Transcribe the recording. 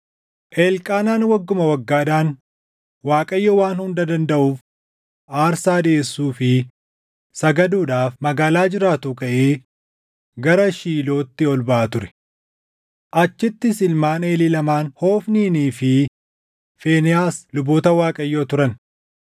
Elqaanaan wagguma waggaadhaan Waaqayyoo Waan Hunda Dandaʼuuf aarsaa dhiʼeessuu fi sagaduudhaaf magaalaa jiraatuu kaʼee gara Shiilootti ol baʼa ture. Achittis ilmaan Eelii lamaan Hofniinii fi Fiinehaas luboota Waaqayyoo turan.